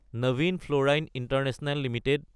নাৱিন Fluorine International limited